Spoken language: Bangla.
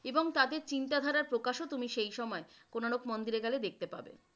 এবং তাদের চিন্তাধারার প্রকাশ ও তুমি সে সময় কোণার্ক মন্দিরে গেলে দেখতে পারবে ।